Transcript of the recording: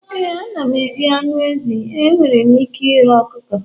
ee, ana m eri anụ ezi. ee, enwere m ike ighe ọkụkọ